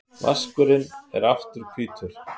Vaskurinn er aftur hvítur.